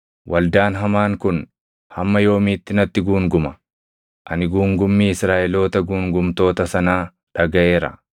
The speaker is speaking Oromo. “Waldaan hamaan kun hamma yoomiitti natti guunguma? Ani guungummii Israaʼeloota guungumtoota sanaa dhagaʼeera.